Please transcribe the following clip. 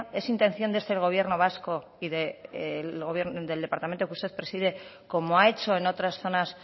es intención desde el gobierno vasco y del departamento que usted preside como ha hecho en otras zonas